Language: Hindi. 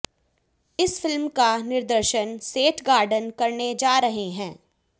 इस फिल्म का निर्देशन सेठ गार्डन करने जा रहे हैं